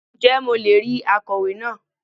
Ǹ jẹ́ mo le è rí akọ̀wé náà